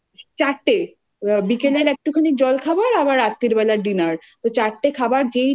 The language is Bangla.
চারটে আ বিকেলের একটুখানি জলখাবার আবার রাত্তিরবেলার